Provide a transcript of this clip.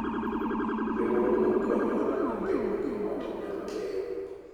Riwruogno konyo ohala mar piny mangima otimre mapiyo.